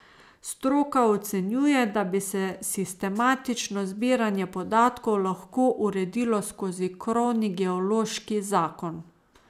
Stroka ocenjuje, da bi se sistematično zbiranje podatkov lahko uredilo skozi krovni geološki zakon.